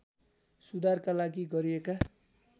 सुधारका लागि गरिएका